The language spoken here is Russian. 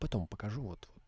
потом покажу вот